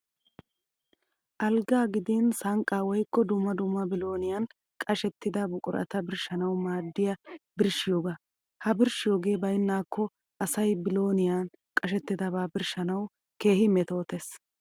Alggaa gidin sanqqaa woyikko dumma dumma bilooniyan qashettida buqurata birshshanawu maaddiya birshshiyoogaa. Ha birshshiyoogee bayinnaakko asay bilooniyan qashettidabaa birshshanawu keehi metootes.